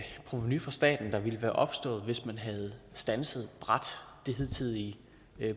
provenu for staten der ville være opstået hvis man havde standset det hidtidige